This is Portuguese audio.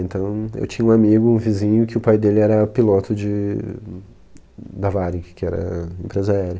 Então, eu tinha um amigo, um vizinho, que o pai dele era piloto de da Varig, que era empresa aérea.